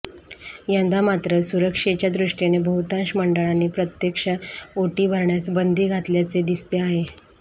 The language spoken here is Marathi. यंदा मात्र सुरक्षेच्या दृष्टीने बहुतांश मंडळांनी प्रत्यक्ष ओटी भरण्यास बंदी घातल्याचे दिसते आहे